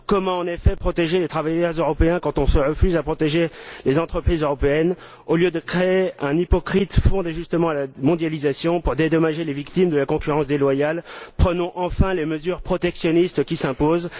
En effet, comment protéger les travailleurs européens quand on se refuse à protéger les entreprises européennes? Au lieu de créer un hypocrite Fonds d'ajustement à la mondialisation pour dédommager les victimes de la concurrence déloyale, prenons enfin les mesures protectionnistes qui s'imposent!